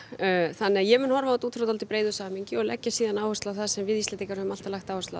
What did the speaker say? þannig að ég mun horfa á þetta út frá dálítið breiðu samhengi og leggja síðan áherslu á það sem við Íslendingar höfum alltaf lagt áherslu á